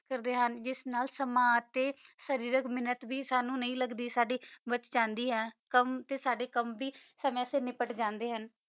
ਕਰਦਾ ਹਨ ਜਿਸ ਨਾਲ ਸਮਾਜ ਤਾ ਸਾਰੀ ਰਾਗ ਮਾ ਨਾਟ ਬੇ ਸਨੋ ਨਹੀ ਲਗਦੀ ਵਾਚ੍ਕੰਦੀ ਆ ਕਾਮ ਤਤਾ ਸਦਾ ਕਾਮ ਵੀ ਵਾਸਾ ਨਿਪਟ ਜਾਣਾ ਆ